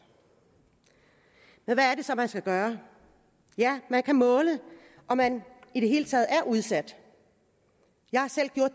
men hvad er det så man skal gøre ja man kan måle om man i det hele taget er udsat jeg har selv gjort